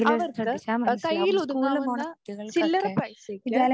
അവർക്ക് ആഹ് കയ്യിലൊതുങ്ങാവുന്ന ചില്ലറ പൈസയ്ക്ക്